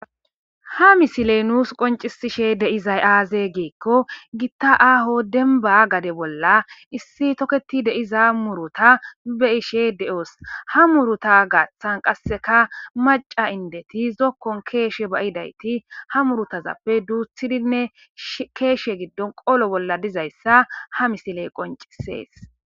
Ha misiliye nussi qonnccisidayi aze gikko gitta aahho demibba gadeza bolla issi toketidda murruta be'ishe deyosi. Ha muruta giddo maccasati zoko bolla shikeza wothidi murutta duthi duthi shikeze bolla qollosona